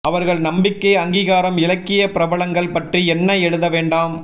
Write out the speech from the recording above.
அவர்கள் நம்பிக்கை அங்கீகாரம் இலக்கிய பிரபலங்கள் பற்றி என்ன எழுத வேண்டாம்